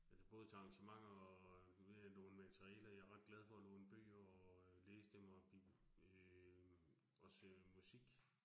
Altså både til arrangementer og, nu ved jeg, nogle materialer, jeg ret glad for at låne bøger og øh læse dem og øh også musik